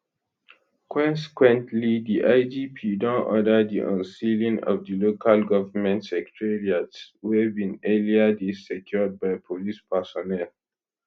consequently di igp don order di unsealing of di local government secretariats wey bin earlier dey secured by police personnel